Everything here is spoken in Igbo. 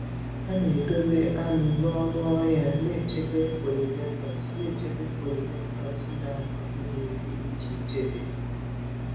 Ha na-edobe aṅụ n'ọnụ ọhịa, na-echebe pollinators na-echebe pollinators na-agba ume dị iche iche dị ndụ.